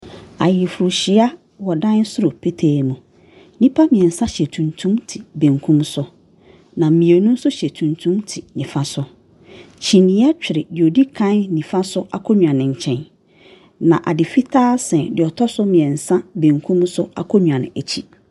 Ayerefo hyia wɔ ɛdan soro pɛtee mu. Nipa mmiɛnsa hyɛ tumtum te bɛnkum so na mmienu nso hyɛ tumtum te nifa so. Kyinneɛ twere deɛ ɔdi kan nifa so akonnwa no nkyɛn na ade fitaa sɛn nsa bɛnkum so akonnwa no akyi.